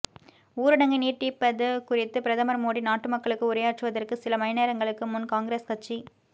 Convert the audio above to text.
ஊரடங்கை நீட்டிப்பது குறித்து பிரதமர் மோடி நாட்டு மக்களுக்கு உரையாற்றுவதற்கு சில மணிநேரங்களுக்கு முன் காங்கிரஸ் கட்சி